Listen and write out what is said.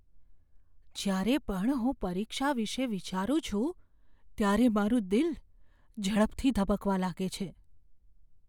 જ્યારે પણ હું પરીક્ષા વિશે વિચારું છું ત્યારે મારું દિલ ઝડપથી ધબકવા લાગે છે.